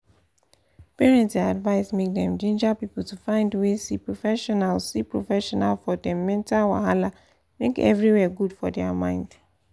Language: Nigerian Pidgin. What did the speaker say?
parents dey advised make dem ginger people to find way see professional see professional for dem mental wahala make everywhere good for their mind.